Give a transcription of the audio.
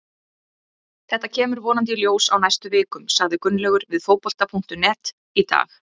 Þetta kemur vonandi í ljós á næstu vikum, sagði Gunnlaugur við Fótbolta.net í dag.